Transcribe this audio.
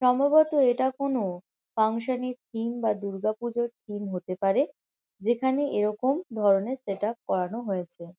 সম্ভবত এটা কোনো ফাঙ্কশন -এর থিম বা দুর্গাপুজোর থিম হতে পারে। যেখানে এরকম ধরণের সেট আপ করানো হয়েছে।